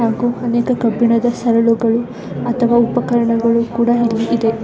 ಹಾಗು ಅನೇಕ ಕಬ್ಬಿಣದ ಸರಳುಗಳು ಅಥವಾ ಉಪಕರಣಗಳು ಕುಡ ಇದೆ .